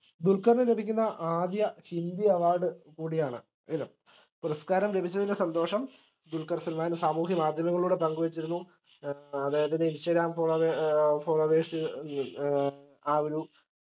ദുൽഖറിന് ലഭിക്കുന്ന ആദ്യ ഹിന്ദി award കൂടിയാണ് ഇത് പുരസ്ക്കാരം ലഭിച്ചതിന്റെ സന്തോഷം ദുൽഖർ സൽമാൻ സാമൂഹ്യമാധ്യമങ്ങളോട്‌ പങ്കുവെച്ചിരുന്നു ഏർ അതായത് ഇൻസ്റ്റഗ്രാം followe ഏർ followers ഏർ ആ ഒരു